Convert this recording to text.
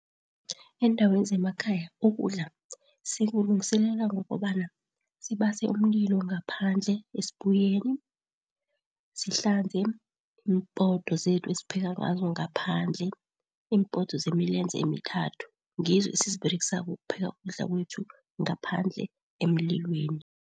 Eendaweni zemakhaya ukudla sikulungiselela ngokobana sibase umlilo ngaphandle esibuyeni, sihlanze iimpoto zethu esipheka ngazo ngaphandle, iimpoto zemilenze emithathu. Ngizo esiziberegisako ukupheka ukudla kwethu ngaphandle emlilweni.